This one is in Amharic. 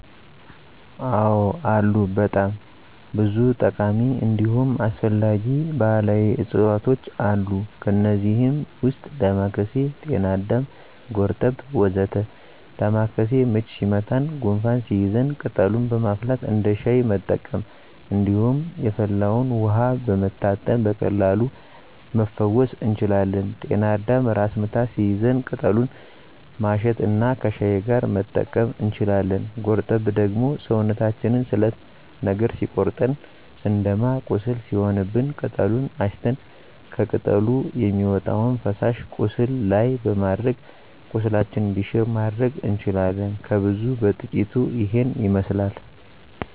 አዎ አሉ በጣም ብዙ ጠቃሚ እንዲሁም አስፈላጊ ባህላዊ እፅዋቶች አሉ። ከእነዚህም ውስጥ ዳማካሴ፣ ጤናአዳም፣ ጎርጠብ ወ.ዘ.ተ ዳማካሴ ምች ሲመታን ጉንፋን ሲይዘን ቅጠሉን በማፍላት እንደ ሻይ መጠቀም እንዲሁም የፈላውን ውሀ በመታጠን በቀላሉ መፈወስ እንችላለን። ጤና አዳምም ራስ ምታት ሲይዘን ቅጠሉን ማሽት እና ከሻይ ጋር መጠቀም እንችላለን። ጎርጠብ ደግሞ ሰውነታችንን ስለት ነገር ሲቆርጠን ስንደማ ቁስል ሲሆንብን ቅጠሉን አሽተን ከቅጠሉ የሚወጣውን ፈሳሽ ቁስሉ ላይ በማድረግ ቁስላችን እንዲሽር ማድረግ እንችላለን። ከብዙ በጥቂቱ ይሄንን ይመስላል።